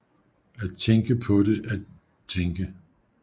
At tænke på det at tænke